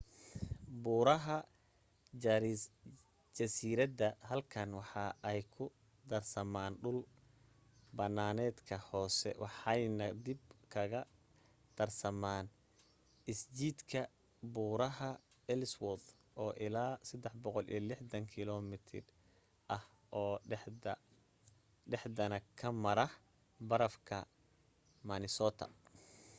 buuraha jasiirada halkan waxa ay ku darsamaan dhul banaanedka hoose waxeyna dib kaga darsamaan isjiidka buuraha ellsworth oo ilaa 360 km ah oo dhaxdana ka mara barafka minnesota